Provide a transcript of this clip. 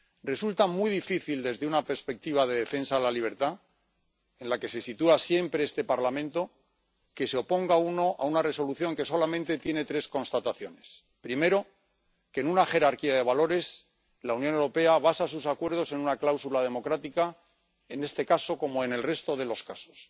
Resulta muy difícil desde una perspectiva de defensa de la libertad, en la que se sitúa siempre este Parlamento, que se oponga uno a una Resolución que solamente tiene tres constataciones primero, que, en una jerarquía de valores, la Unión Europea basa sus acuerdos en una cláusula democrática, en este caso como en el resto de los casos.